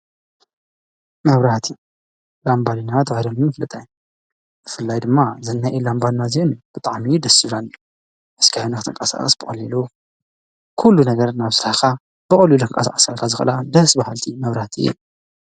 መውራቲ ላንባሊና ትባለሚ ምፍልጠይ ፍላይ ድማ ዘናይኢ ላንባድናእዘዩን ብጥዓምዩ ደሱረን እስኪሕንኽተንቃሣቐስ በቐሌሉ ኲሉ ነገር እናብ ሥራሓኻ በቕሉ ለንቃስ ዓሠልካ ዝቕላ ደስ በሃልቲ መውራት እዮም።